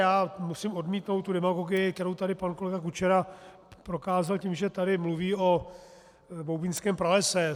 Já musím odmítnout tu demagogii, kterou tady pan kolega Kučera prokázal tím, že tady mluví o Boubínském pralese.